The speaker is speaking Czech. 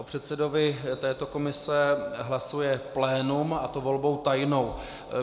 O předsedovi této komise hlasuje plénum, a to volbou tajnou.